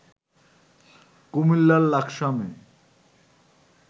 কুমিল্লার লাকসামে